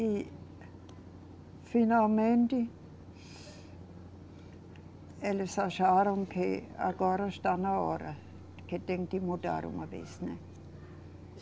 E, finalmente, eles acharam que agora está na hora, que tem de mudar uma vez, né?